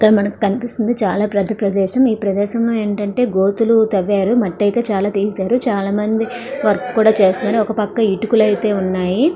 ఇక్కడ మనకి కనిపిస్తుంది చాలా పెద్ద ప్రదేశం. ఈ ప్రదేశంలో ఏంటంటే గోతులు తవ్వారు. మట్టి అయితే చాలా తీశారు. చాలామంది వర్క్ కూడా చేస్తారు. ఒక పక్క ఇటుకులైతే ఉన్నాయి.